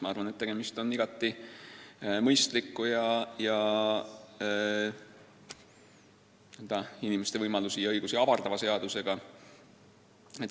Ma arvan, et tegemist on igati mõistliku, inimeste võimalusi ja õigusi avardava seadusega.